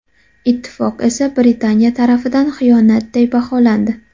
Ittifoq esa Britaniya tarafidan xiyonatday baholandi.